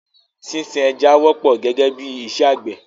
Sísin ẹja wọ́pọ̀ gẹ́gẹ́ bí i iṣẹ́ àgbẹ̀.